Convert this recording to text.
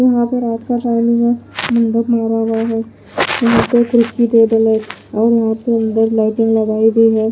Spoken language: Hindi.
यहां पर रात का टाइम है लाइटिंग लगाई गयी है।